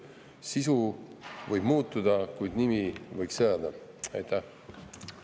Sisu võib muuta, kuid nimi võiks jääda.